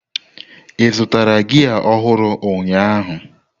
Ị zụtara gia ọhụrụ ụnyaahụ?